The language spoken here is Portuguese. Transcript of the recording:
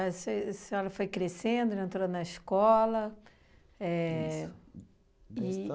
A senhora foi crescendo, já entrou na escola. Éh